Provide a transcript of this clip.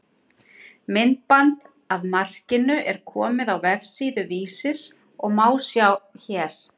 Myndband af markinu er komið á vefsíðu Vísis og má sjá hér.